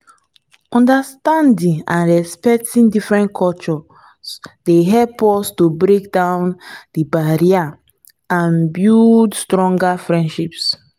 understanding and respecting different cultures dey help us to break down di barriers and build stronger relationships.